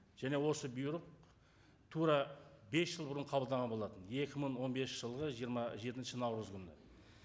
және осы бұйрық тура бес жыл бұрын қабылданған болатын екі мың он бесінші жылғы жиырма жетінші наурыз күні